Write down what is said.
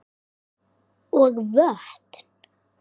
og vötn.